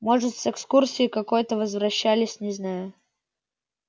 может с экскурсии какой-то возвращались не знаю